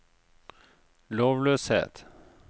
lovløshet